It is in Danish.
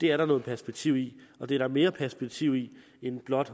det er der noget perspektiv i og det er der mere perspektiv i end blot